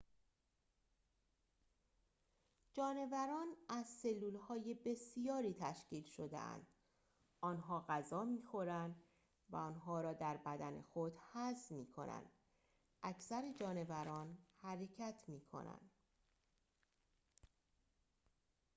جانوران از سلول‌های بسیاری تشکیل شده‌اند آنها غذا می‌خورند و آنها را در بدن خود هضم می‌کنند اکثر جانوران حرکت می‌کنند